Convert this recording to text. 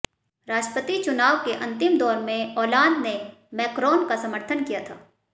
राष्ट्रपति चुनाव के अंतिम दौर में ओलांद ने मैकरॉन का समर्थन किया था